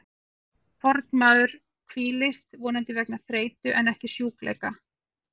Fornmaður hvílist, vonandi vegna þreytu en ekki sjúkleika.